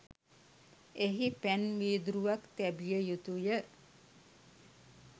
එහි පැන් වීදුරුවක් තැබිය යුතු ය.